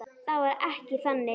Það var ekkert þannig.